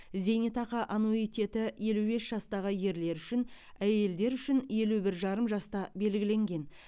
зейнетақы аннуитеті елу бес жастағы ерлер үшін әйелдер үшін елі бір жарым жаста белгіленген